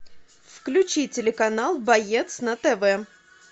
включи телеканал боец на тв